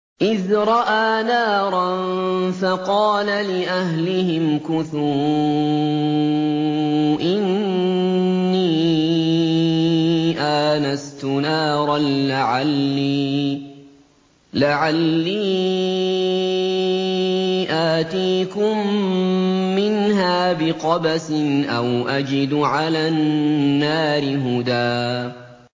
إِذْ رَأَىٰ نَارًا فَقَالَ لِأَهْلِهِ امْكُثُوا إِنِّي آنَسْتُ نَارًا لَّعَلِّي آتِيكُم مِّنْهَا بِقَبَسٍ أَوْ أَجِدُ عَلَى النَّارِ هُدًى